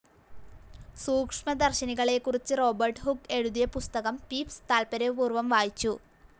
സൂക്ഷ്മദർശിനികളെക്കുറിച്ച് Robert Hooke എഴുതിയ പുസ്തകം Pepys താത്പര്യപൂർ‌വം വായിച്ചു.